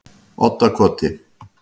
Oddakoti